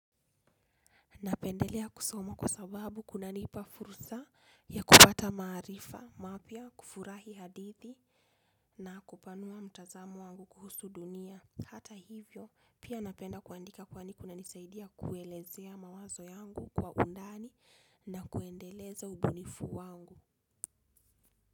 Napendelea kusoma kwa sababu kunanipa fursa ya kupata maarifa mapya kufurahi hadithi na kupanua mtazamo wangu kuhusu dunia. Hata hivyo pia napenda kuandika kwani kuna nisaidia kuelezea mawazo yangu kwa undani na kuendeleza ubunifu wangu.